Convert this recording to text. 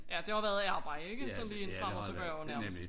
Ja det har været arbejde ikke så bare lige en frem og tilbage nærmest